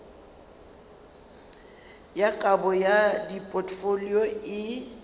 ya kabo ya dipotfolio e